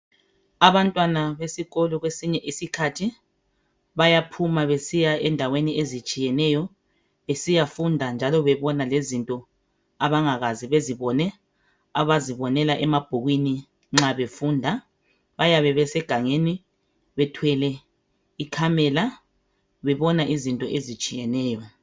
Abantwana besikolo kwesinye isikhathi bayaphuma besiya endaweni ezitshiyeneyo besiyafunda njalo bebona lezinto abangakaze bezibone abazibonela emabhukwini nxa befunda, bayabe besegangeni bethwele ikhamela bebona izinto ezitshiyeneyo.